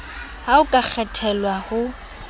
ha o ka kgethelwa ho